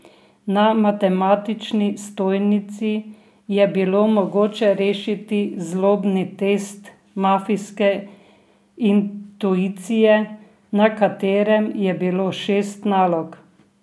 Na matematični stojnici je bilo mogoče rešiti Zlobni test mafijske intuicije, na katerem je bilo šest nalog.